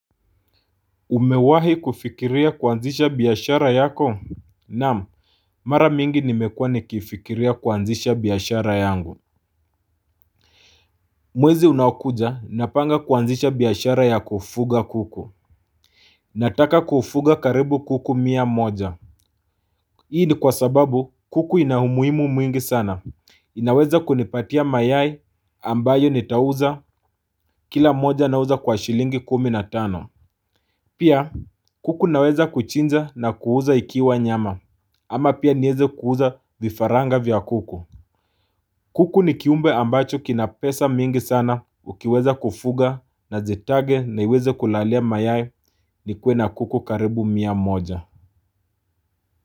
Umewahi kufikiria kuanzisha biashara yako? Naam, mara mingi nimekuwa nikifikiria kuanzisha biashara yangu. Mwezi unaokuja, napanga kuanzisha biashara ya kufuga kuku. Nataka kufuga karibu kuku mia moja. Hii ni kwa sababu kuku inaumuhimu mwingi sana. Inaweza kunipatia mayai ambayo nitauza, kila moja na uza kwa shilingi kumi na tano. Pia kuku naweza kuchinja na kuuza ikiwa nyama. Ama pia niweze kuuza vifaranga vya kuku. Kuku ni kiumbe ambacho kina pesa mingi sana ukiweza kufuga na zitage na iweze kulalia mayai ni kue na kuku karibu mia moja.